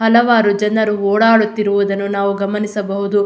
ಹಲವಾರು ಜನ ಓಡಾಡುತ್ತಿರುವುದನ್ನು ನಾವು ಗಮನಿಸಬಹುದು.